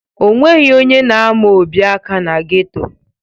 O nweghi onye na-ama Obi aka na geto.